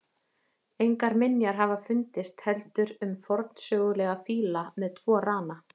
Engar minjar hafa fundist heldur um forsögulega fíla með tvo rana.